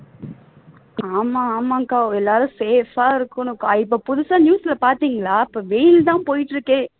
ஆமா ஆமா அக்கா எல்லாரும் safe ஆ இருக்கணும் இப்ப புதுசா news ல பாத்திங்களா இப்போ வெயில் தான் போயிட்டு இருக்கே